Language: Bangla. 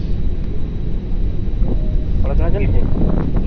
পড়াশুনা চলছে?